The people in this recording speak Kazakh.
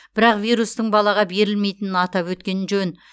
бірақ вирустың балаға берілмейтінін атап өткен жөн